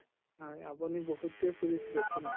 উম আপুনি বহুত tour কৰিছে দেখুন।